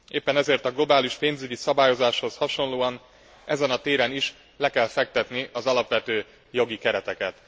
Éppen ezért a globális pénzügyi szabályozáshoz hasonlóan ezen a téren is le kell fektetni az alapvető jogi kereteket.